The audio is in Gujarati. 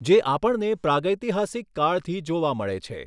જે આપણને પ્રાગૈતિહાસિક કાળથી જોવા મળે છે.